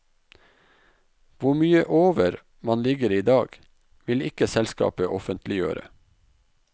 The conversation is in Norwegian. Hvor mye over man ligger i dag, vil ikke selskapet offentliggjøre.